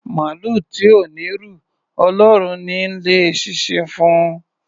Màlúù tí ò n'írù, Ọlọ́run ni í lé eṣinṣin fún un.